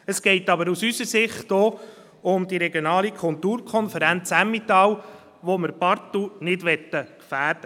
Es geht aber aus unserer Sicht auch um die regionale Kulturkonferenz Emmental, die wir partout nicht gefährden möchten.